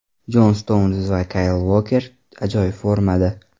Jon Stounz va Kayl Uoker ajoyib formada.